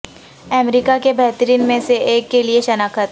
امریکہ کے بہترین میں سے ایک کے لئے شناخت